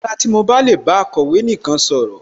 Kòbá dára tí mo bá lè bá akọ̀wé nìkan sọ̀rọ̀